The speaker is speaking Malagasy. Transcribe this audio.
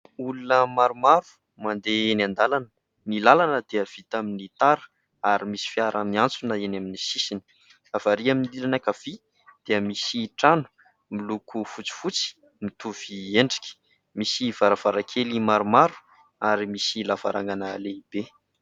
Olona maromaro mandeha eny an-dàlana ; ny làlana dia vita amin'ny tara ary misy fiara miantsona eny amin'ny sisiny. Avy arý amin'ny ilany ankavia dia misy trano miloko fotsifotsy mitovy endrika misy varavarankely maromaro ary misy lavarangana lehibe.